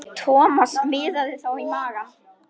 Thomas miðaði þá á magann.